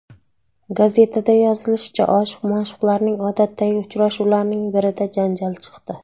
Gazetada yozilishicha, oshiq-ma’shuqlarning odatdagi uchrashuvlarining birida janjal chiqdi.